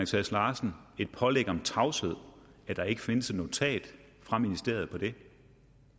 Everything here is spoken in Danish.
sass larsen et pålæg om tavshed at der ikke findes et notat fra ministeriet om det